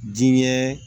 Diɲɛ